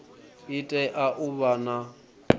i tea u vha na